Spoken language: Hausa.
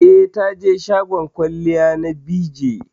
Eh, taje shagon kwalliya na BeeJay